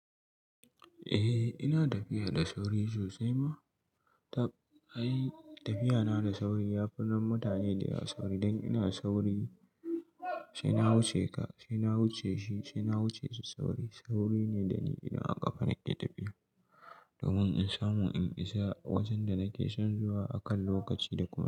Eh ina tafiya da sauri sosai ma. Tab ai Tafiya na da sauri ya fi na mutane da yawa sauri dan ina sauri, sai na wuce ka, sai na wuce shi, sai na wuce su. Sauri, sauri ne da ni idan aka kafa nake tafiya domin in samu in isa wajen da nake son zuwa akan lokaci da ƙuna.